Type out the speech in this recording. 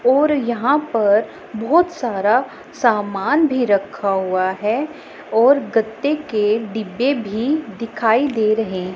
और यहां पर बहुत सारा सामान भी रखा हुआ है और गत्ते के डिब्बे भी दिखाई दे रहें--